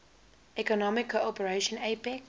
economic cooperation apec